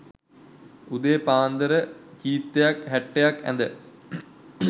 උදේ පාන්දර චීත්තයක් හැට්ටයක් ඇද